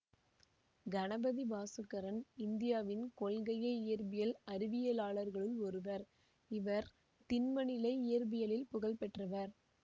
கணபதி பாசுக்கரன் இந்தியாவின் கொள்கைய இயற்பியல் அறிவியலாளர்களுள் ஒருவர் இவர் திண்மநிலை இயற்பியலில் புகழ் பெற்றவர்